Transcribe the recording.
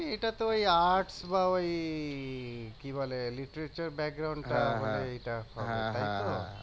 এটা তো ওই আর্ট বা ওই কি বলে টা বলে এইটা তাইতো